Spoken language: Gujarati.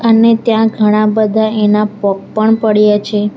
અને ત્યાં ઘણા બધા એના પગ પણ પડ્યા છે.